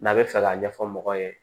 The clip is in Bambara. N'a bɛ fɛ k'a ɲɛfɔ mɔgɔw ye